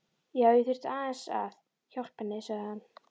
Já, ég þurfti aðeins að. hjálpa henni, sagði hann.